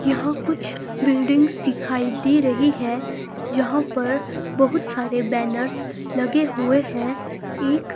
यहां कुछ बिल्डिंग्स दिखाई दे रही है जहां पर बहुत सारे बैनर्स लगे हुए हैं एक---